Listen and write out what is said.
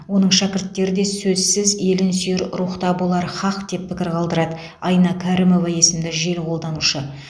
оның шәкірттері де сөзсіз елін сүйер рухта болары һақ деп пікір қалдырады айна кәрімова есімді желі қолданушы